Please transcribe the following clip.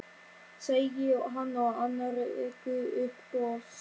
segir hann og annar rekur upp bofs.